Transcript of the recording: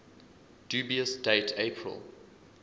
dubious date april